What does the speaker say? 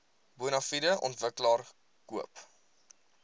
bonafide ontwikkelaar koop